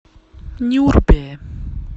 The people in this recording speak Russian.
нюрбе